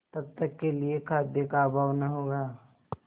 तब तक के लिए खाद्य का अभाव न होगा